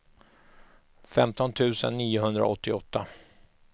femton tusen niohundraåttioåtta